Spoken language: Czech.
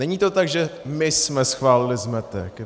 Není to tak, že my jsme schválili zmetek.